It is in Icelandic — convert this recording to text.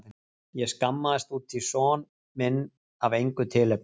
Ég skammaðist út í son minn af engu tilefni.